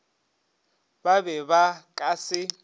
ba be ba ka se